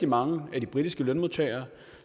mange af de britiske lønmodtagere